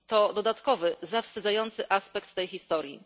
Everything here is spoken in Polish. To dodatkowy, zawstydzający aspekt tej historii.